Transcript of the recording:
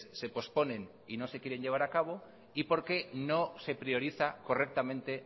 se posponen y no se quieren llevar a cabo y porque no se prioriza correctamente